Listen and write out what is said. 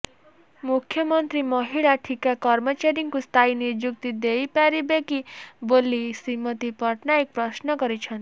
ମୁଖ୍ୟମନ୍ତ୍ରୀ ମହିଳା ଠିକା କର୍ମଚାରୀଙ୍କୁ ସ୍ଥାୟୀ ନିଯୁକ୍ତି ଦେଇପାରିବେ କି ବୋଲି ଶ୍ରୀମତୀ ପଟ୍ଟନାୟକ ପ୍ରଶ୍ନ କରିଛନ୍ତି